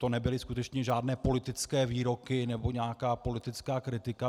To nebyly skutečně žádné politické výroky nebo nějaká politická kritika.